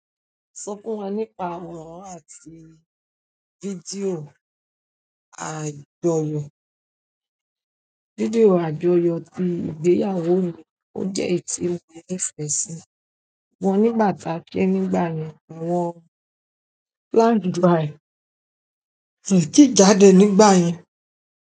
Sọ fún wa nípa àwòrán àti fídíò àjọyọ̀. Fídíò àjọyọ̀ ti ìgbéyàwó mi ò jẹ èyí tí mo nifẹ sí, wọ́n nígbà ta ke nígbà yẹn àwọn planned dry ki ti jáde nígbà yẹn.